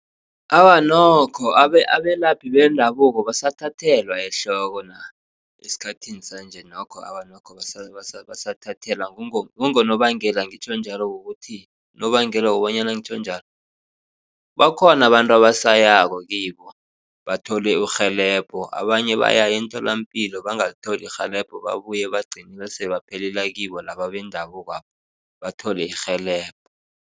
Awa, nokho abelaphi bendabuko basathathelwa ehloko nabo esikhathini sanje. Nokho awa nokho awa basathathelwa, kungonobangela ngitjho njalo kukuthi unobanganela wokobanyana ngitjho njalo bakhona abantu abasayako kibo bathole urhelebho. Abanye bayaya emtholampilo bangalithola irhelebho babuye bagcine sebaphelela kibo laba bendabukwaba bathole irhelebho.